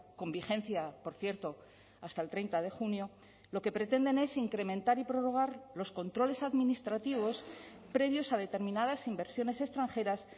con vigencia por cierto hasta el treinta de junio lo que pretenden es incrementar y prorrogar los controles administrativos previos a determinadas inversiones extranjeras